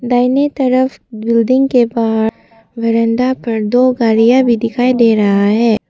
दाहिने तरफ बिल्डिंग के बाहर बरंदा पर दो गाड़ियां भी दिखाई दे रहा है।